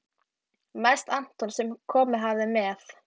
Mest Anton sem komið hafði með